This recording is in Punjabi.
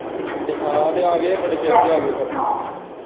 ਹਾਂ ਤੇ ਆ ਗਏ ਹੈ ਬੜੇ ਚਿਰ ਦੇ ਆ ਗਏ ਹੈ ਫਿਰ।